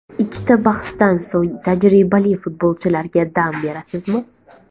Ikkita bahsdan so‘ng tajribali futbolchilarga dam berasizmi?